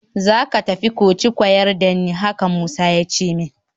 Za ka tafi koci kwayar da ni, haka Musa ya ce min